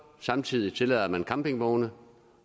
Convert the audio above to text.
samtidig tillader man campingvogne